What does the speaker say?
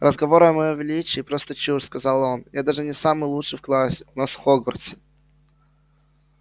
разговоры о моём величии просто чушь сказал он я даже не самый лучший в классе у нас в хогвартсе